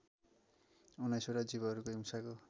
उन्नाइसवटा जीवहरूको हिंसाको